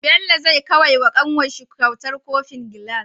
Bello zai kawai wa kanwarshi kyautar kofin gilas